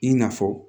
I na fɔ